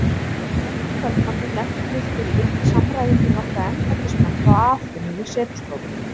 Eftir kvöldmatinn lentum við Philip í samræðum við nokkra embættismenn frá Aþenu í setustofunni.